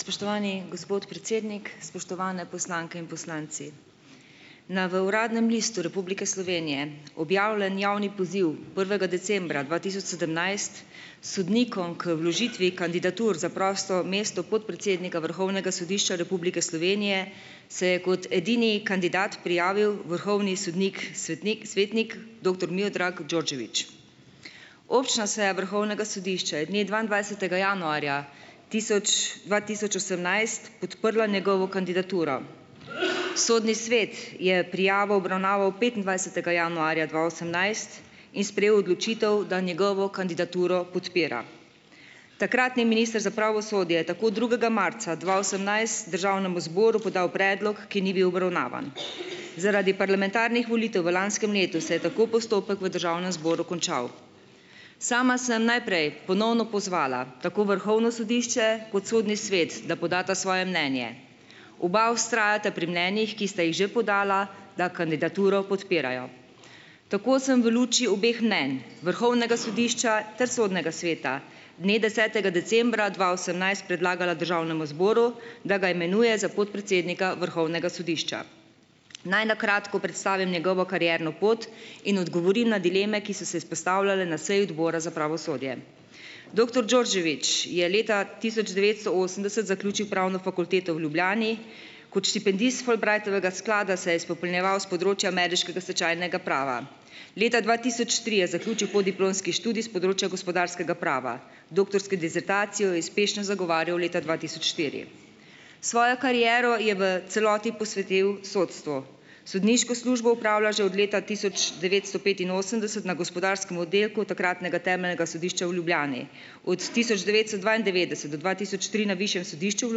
Spoštovani gospod predsednik, spoštovani poslanke in poslanci! Na v Uradnem listu Republike Slovenije objavljen javni poziv prvega decembra dva tisoč sedemnajst sodnikom k vložitvi kandidatur za prosto mesto podpredsednika Vrhovnega sodišča Republike Slovenije se je kot edini kandidat prijavil vrhovni sodnik svetnik svetnik doktor Mijodrag Đorđević. Občna seja Vrhovnega sodišča je dne dvaindvajsetega januarja tisoč dva tisoč osemnajst podprla njegovo kandidaturo. Sodni svet je prijavo obravnaval petindvajsetega januarja dva osemnajst in sprejel odločitev, da njegovo kandidaturo podpira. Takratni minister za pravosodje je tako drugega marca dva osemnajst državnemu zboru podal predlog, ki ni bil obravnavan. Zaradi parlamentarnih volitev v lanskem letu se je tako postopek v državnem zboru končal. Sama sem najprej ponovno pozvala tako Vrhovno sodišče kot Sodni svet, da podata svoje mnenje. Oba vztrajata pri mnenjih, ki sta jih že podala, da kandidaturo podpirajo. Tako sem v luči obeh mnenj, Vrhovnega sodišča ter Sodnega sveta, dne desetega decembra dva osemnajst predlagala državnemu zboru, da ga imenuje za podpredsednika Vrhovnega sodišča. Naj na kratko predstavim njegovo karierno pot in odgovorim na dileme, ki so se izpostavljale na seji Odbora za pravosodje. Doktor Đorđević je leta tisoč devetsto osemdeset zaključil pravno fakulteto v Ljubljani. Kot štipendist Fulbrightovega sklada se je izpopolnjeval s področja ameriškega stečajnega prava. Leta dva tisoč tri je zaključil podiplomski študij s področja gospodarskega prava. Doktorsko disertacijo je uspešno zagovarjal leta dva tisoč štiri. Svojo kariero je v celoti posvetil sodstvu. Sodniško službo opravlja že od leta tisoč devetsto petinosemdeset na gospodarskem oddelku takratnega temeljnega sodišča v Ljubljani, od tisoč devetsto dvaindevetdeset do dva tisoč tri na Višjem sodišču v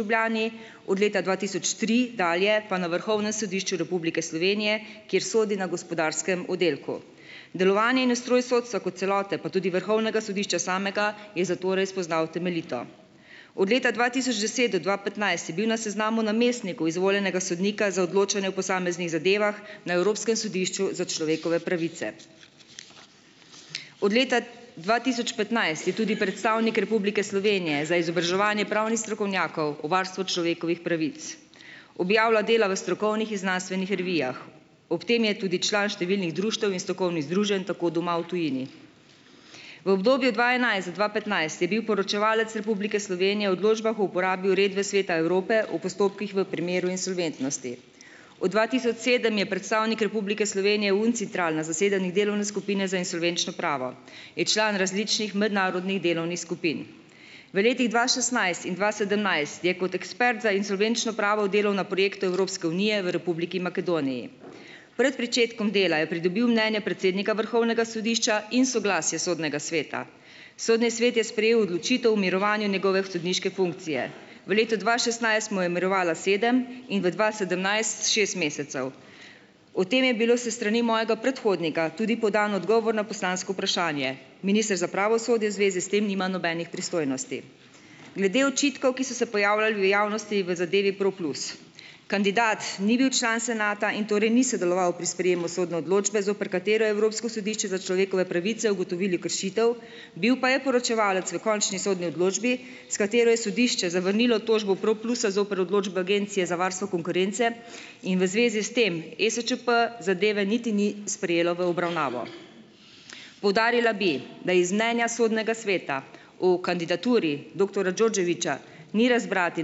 Ljubljani, od leta dva tisoč tri dalje pa na Vrhovnem sodišču Republike Slovenije, kjer sodi na gospodarskem oddelku. Delovanje in ustroj sodstva kot celote, pa tudi vrhovnega sodišča samega, je zatorej spoznal temeljito. Od leta dva tisoč deset do dva petnajst je bil na seznamu namestnikov izvoljenega sodnika za odločanje o posameznih zadevah, na Evropskem sodišču za človekove pravice. Od leta dva tisoč petnajst je tudi predstavnik Republike Slovenije za izobraževanje pravnih strokovnjakov o varstvu človekovih pravic. Objavlja dela v strokovnih in znanstvenih revijah. Ob tem je tudi član številnih društev in strokovnih združenj, tako doma, v tujini. V obdobju dva enajst do dva petnajst je bil poročevalec Republike Slovenije o odločbah o uporabi uredbe Sveta Evrope v postopkih v primeru insolventnosti. Od dva tisoč sedem je predstavnik Republike Slovenije Uncitral - na zasedanjih delovne skupine za insolvenčno pravo. Je član različnih mednarodnih delovnih skupin. V letih dva šestnajst in dva sedemnajst je kot ekspert za insolvenčno pravo delal na projektu Evropske unije v Republiki Makedoniji. Pred pričetkom dela je pridobil mnenje predsednika Vrhovnega sodišča in soglasje Sodnega sveta. Sodni svet je sprejel odločitev o mirovanju njegove sodniške funkcije. V letu dva šestnajst mu je mirovala sedem in v dva sedemnajst šest mesecev. O tem je bilo s strani mojega predhodnika tudi podan odgovor na poslansko vprašanje. Minister za pravosodje v zvezi s tem nima nobenih pristojnosti. Glede očitkov, ki so se pojavljali v javnosti, v zadevi Pro plus. Kandidat ni bil član senata in torej ni sodeloval pri sprejemu sodne odločbe, zoper katere je Evropsko sodišče za človekove pravice ugotovilo kršitev, bil pa je poročevalec v končni sodni odločbi, s katero je sodišče zavrnilo tožbo Pro plusa zoper odločbo Agencije za varstvo konkurence in v zvezi s tem, ESČP zadeve niti ni sprejelo v obravnavo. Poudarila bi, da iz mnenja Sodnega sveta o kandidaturi doktorja Đorđevića ni razbrati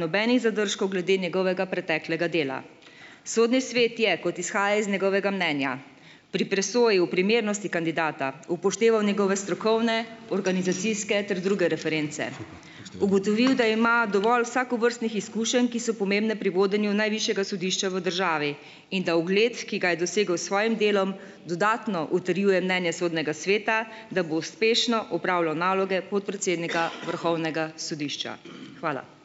nobenih zadržkov glede njegovega preteklega dela. Sodni svet je, kot izhaja iz njegovega mnenja, pri presoji o primernosti kandidata upošteval njegove strokovne, organizacijske ter druge reference. Ugotovil, da ima dovolj vsakovrstnih izkušenj, ki so pomembne pri vodenju najvišjega sodišča v državi, in da ugled, ki ga je dosegel s svojim delom, dodatno utrjuje mnenje Sodnega sveta, da bo uspešno opravljal naloge podpredsednika Vrhovnega sodišča. Hvala.